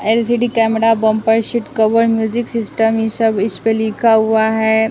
LCD camera bumper sheet cover music system ये सब इस पे लिखा हुआ है।